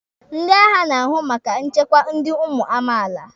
Ndị agha na-ahụ maka nchekwa ndi ụmụ amaala.